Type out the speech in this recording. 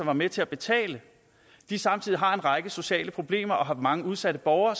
var med til at betale samtidig har en række sociale problemer og har mange udsatte borgere